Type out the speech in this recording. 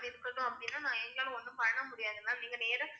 சரி இருக்கட்டும் அப்டின்னா நாஎங்களால ஒன்னும் பண்ண முடியாது ma'am நீங்க நேரா